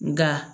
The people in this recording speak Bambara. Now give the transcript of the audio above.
Nka